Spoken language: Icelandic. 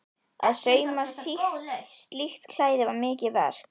Að sauma slíkt klæði var mikið verk.